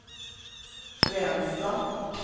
Fränsta